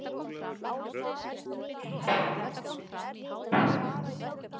Ég greip um alblóðugt barnið sem kom ekki upp orði fyrir skelfingu og sársauka.